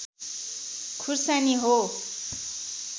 खुर्सानी हो